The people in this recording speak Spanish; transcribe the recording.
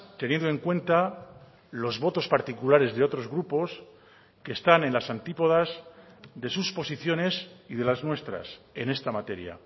teniendo en cuenta los votos particulares de otros grupos que están en las antípodas de sus posiciones y de las nuestras en esta materia